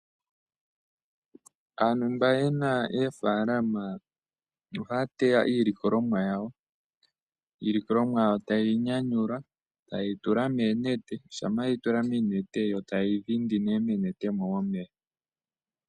Aantu mba ye na oofalama, ohaya teya iilikolomwa yawo, iilikolomwa yawo taye yi nyanyula taye yi tula moonete, shampa yeyi tula moonete yo taye yi dhindi nee moonete mo omeya.